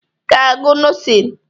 I ga-agụ nọsin!